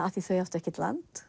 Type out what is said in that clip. af því þau áttu ekkert land